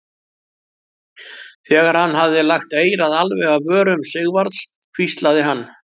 Þegar hann hafði lagt eyrað alveg að vörum Sigvarðs hvíslaði hann